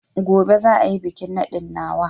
Gobe za a yi bikin nadin nawa